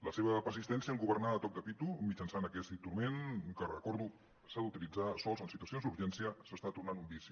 la seva persistència en governar a toc de pito mitjançant aquest instrument que ho recordo s’ha d’utilitzar sols en situacions d’urgència s’està tornant un vici